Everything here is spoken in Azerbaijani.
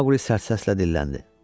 Maqli sərt səslə dilləndi.